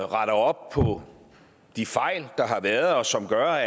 retter op på de fejl der har været og som gør